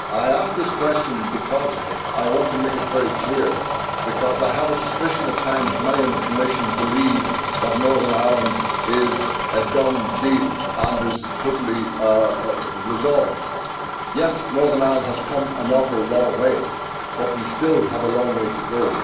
I ask this question because I want to make it very clear that I have a suspicion at times that many in the Commission believe that Northern Ireland is a done deal and is totally resolved. Yes, Northern Ireland has come an awfully long way, but we still have a long way to go.